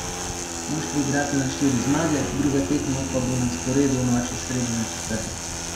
Moštvi igrata na štiri zmage, druga tekma pa bo na sporedu v noči s srede na četrtek.